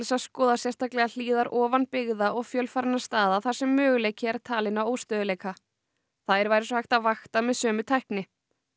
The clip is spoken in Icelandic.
að skoða sérstaklega hlíðar ofan byggða og fjölfarinna staða þar sem möguleiki er talinn á óstöðugleika þær væri svo hægt að vakta með sömu tækni